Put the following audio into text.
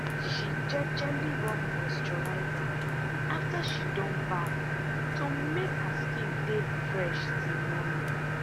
she jejely rub moisturizer after she don baff to make her skin dey fresh till morning.